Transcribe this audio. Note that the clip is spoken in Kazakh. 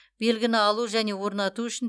белгіні алу және орнату үшін